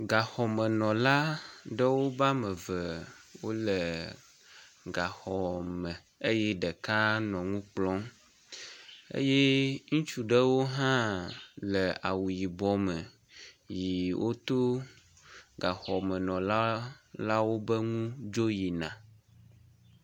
Gaxɔmenɔla ƒe ame eve wole gaxɔme eye ɖeka nɔ nu kplɔm eye ŋutsu ɖewo hã le awu yibɔ me yi woto gaxɔmenɔla lawo be ŋu dzo yina.